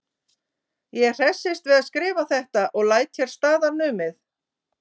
Ég hressist við að skrifa þetta og læt hér staðar numið.